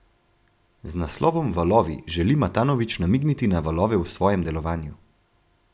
Z naslovom Valovi želi Matanovič namigniti na valove v svojem delovanju.